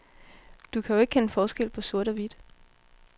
Du kan jo ikke kende forskel på sort og hvidt.